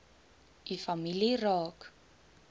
u familie raak